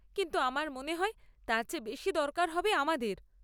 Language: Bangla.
কিন্তু আমার মনে হয় তার চেয়ে বেশি দরকার হবে আমাদের।